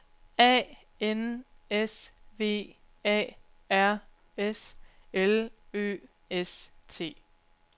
A N S V A R S L Ø S T